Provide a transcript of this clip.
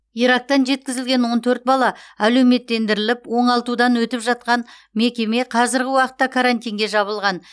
ирактан жеткізілген он төрт бала әлеуметтендіріліп оңалтудан өтіп жатқан мекеме қазіргі уақытта карантинге жабылған